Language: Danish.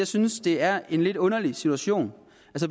synes det er en lidt underlig situation